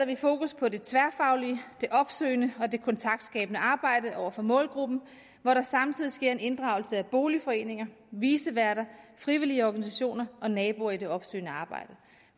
vi fokus på det tværfaglige det opsøgende og det kontaktskabende arbejde over for målgruppen hvor der samtidig sker en inddragelse af boligforeninger viceværter frivillige organisationer og naboer i det opsøgende arbejde